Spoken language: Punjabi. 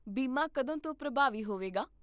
ਬੀਮਾ ਕਦੋਂ ਤੋਂ ਪ੍ਰਭਾਵੀ ਹੋਵੇਗਾ?